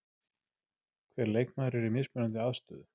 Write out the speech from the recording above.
Hver leikmaður er í mismunandi aðstöðu.